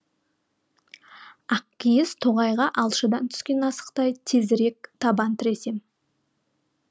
ақкиіз тоғайға алшыдан түскен асықтай тезірек табан тіресем